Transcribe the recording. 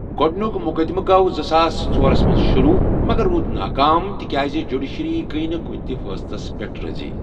گۄڈٕنیُک مُقدمہٕ گوٚو زٕساس ژورس منٛز شروٗع مگر روٗد ناکام تِکیٛازِ جیوڈِشیٚری گٔیۍ نہٕ کُنہِ تہِ فیصلَس پیٹھ رٲضی۔